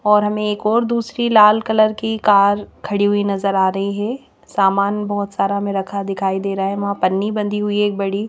और हमें एक और दूसरी लाल कलर की कार खड़ी हुई नजर आ रही है सामान बहोत सारा में रखा दिखाई दे रहा है वहां पन्नी बंधी हुई एक बड़ी--